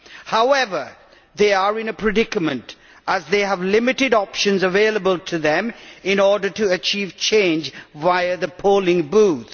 However, they are in a predicament, as they have limited options available to them in order to achieve change via the polling booth.